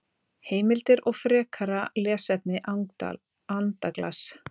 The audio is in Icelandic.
Heimildir og frekara lesefni Andaglas.